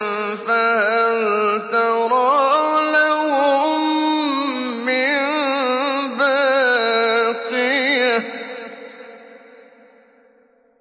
فَهَلْ تَرَىٰ لَهُم مِّن بَاقِيَةٍ